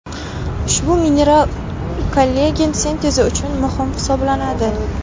Ushbu mineral kollagen sintezi uchun muhim hisoblanadi.